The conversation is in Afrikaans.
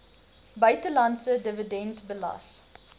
buitelandse dividend belas